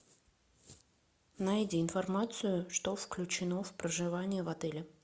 найди информацию что включено в проживание в отеле